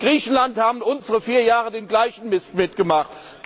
In Griechenland haben unsere vier Jahre lang den gleichen Mist mitgemacht.